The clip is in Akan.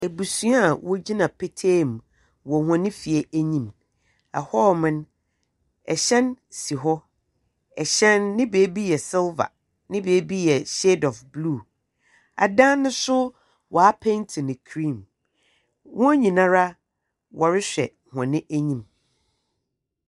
Abusua a wogyina petee mu wɔ hɔn fie enyim. Na hɔ, hyɛn si hɔ. Ɛhyɛn no, ne beebi yɛ silver, na ne beebi nso yɛ shade of blue. Adan no nso, wɔapenti no cream. Hɔn nyinaa, wɔrehwɛ wɔn enyim.